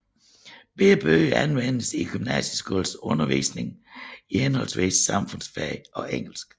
Begge bøger anvendes i gymnasieskolens undervisning i henholdsvis samfundsfag og engelsk